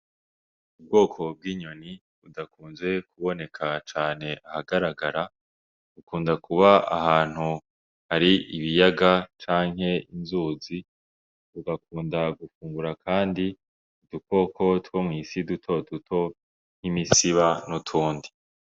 Ubwoko bw'inyoni budakunze kuboneka cane ahagaragara, bukunda kuba ahantu hari ibiyaga canke inzuzi, bugakunda gufungura kandi udukoko two mw'isi duto duto nk'imisiba n'utundi.